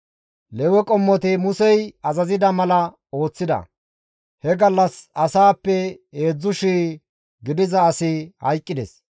Lewe qommoti Musey azazida mala ooththida; he gallas asaappe heedzdzu shii gidiza asi hayqqides.